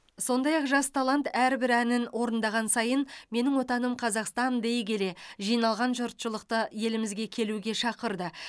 сондай ақ жас талант әрбір әнін орындаған сайын менің отаным қазақстан дей келе жиналған жұртшылықты елімізге келуге шақырды